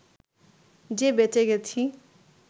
যে বেঁচে গেছি